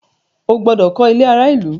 O gbọdọ kọ ilé àrà ìlú!